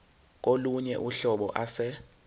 kolunye uhlobo ase